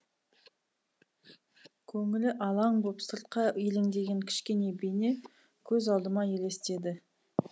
көңілі алаң боп сыртқа елеңдеген кішкене бейне көз алдыма елестеді